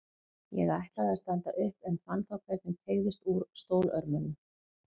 Ég ætlaði að standa upp en fann þá hvernig teygðist úr stólörmunum.